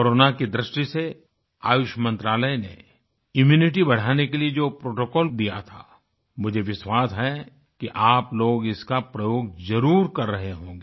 corona की दृष्टि से आयुष मंत्रालय ने इम्यूनिटी बढ़ाने के लिए जो प्रोटोकॉल दिया था मुझे विश्वास है कि आप लोग इसका प्रयोग जरुर कर रहे होंगे